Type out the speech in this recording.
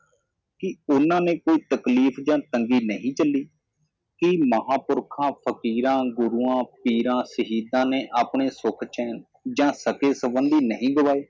ਕਿ ਉਹਨਾਂ ਨੇ ਕੋਈ ਤਕਲੀਫ ਯਾ ਤੰਗੀ ਨਹੀ ਝੱਲੀ ਕਿ ਮਹਾਂਪੁਰਖਾਂ ਫ਼ਕੀਰਾਂ ਗੁਰੂਆਂ ਪੀਰਾਂ ਸ਼ਹੀਦਾਂ ਨੇ ਆਪਣੇ ਸੁਖ ਚੈਣ ਯਾ ਸਗੇ ਸੰਬੰਧੀ ਨਹੀ ਗਵਾਏ